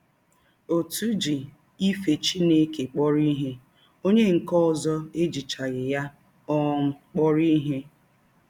Ọtụ ji ife Chineke kpọrọ ihe, ọnye nke ọzọ ejichaghị ya um kpọrọ ihe.